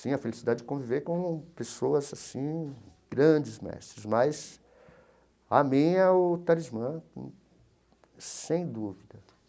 Sim, a felicidade de conviver com pessoas assim, grandes mestres, mas a minha é o Talismã, sem dúvida.